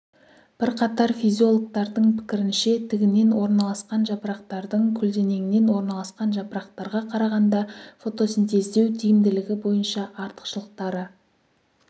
бірқатар физиологтардың пікірінше тігінен орналасқан жапырақтардың көлденеңнен орналасқан жапырақтарға қарағанда фотосинтездеу тиімділігі бойынша артықшылықтары